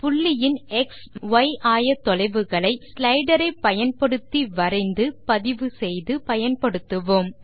ஒரு புள்ளியின் எக்ஸ் மற்றும் ய் ஆயத்தொலைவுகளை ஒரு ஸ்லைடர் ஐ பயன்படுத்தி வரைந்து பதிவு செய்து பயன்படுத்துவோம்